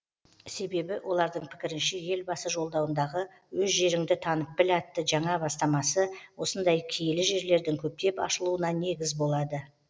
себебі олардың пікірінше елбасы жолдауындағы өз жеріңді танып біл атты жаңа бастамасы осындай киелі жерлердің көптеп ашылуына негіз болады